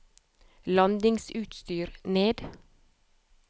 landingsutstyr ned